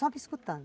Só me escutando.